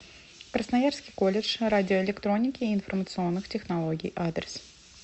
красноярский колледж радиоэлектроники и информационных технологий адрес